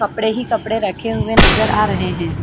कपड़े ही कपड़े रखे हुए नज़र आ रहे है।